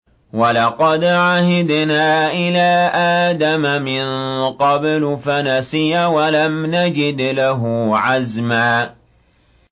وَلَقَدْ عَهِدْنَا إِلَىٰ آدَمَ مِن قَبْلُ فَنَسِيَ وَلَمْ نَجِدْ لَهُ عَزْمًا